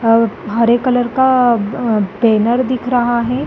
अ हरे कलर का बैनर दिख रहा है।